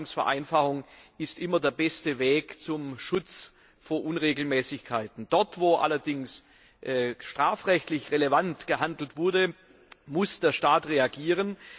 Verwaltungsvereinfachung ist immer der beste Weg zum Schutz vor Unregelmäßigkeiten. Dort allerdings, wo strafrechtlich relevant gehandelt wurde, muss der Staat reagieren.